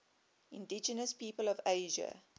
indigenous peoples of asia